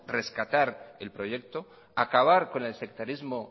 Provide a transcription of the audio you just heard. acabar con el sectarismo